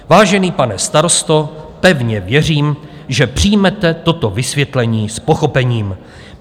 Vážený pane starosto, pevně věřím, že přijmete toto vysvětlení s pochopením.